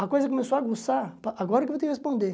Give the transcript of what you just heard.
A coisa começou a aguçar, agora que eu vou te responder.